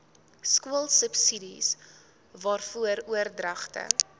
skoolsubsidies waarvan oordragte